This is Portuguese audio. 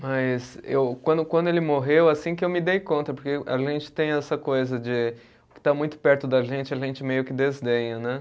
Mas eu, quando quando ele morreu, assim que eu me dei conta, porque a gente tem essa coisa de o que está muito perto da gente, a gente meio que desdenha, né?